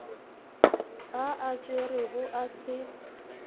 a a tšerego a se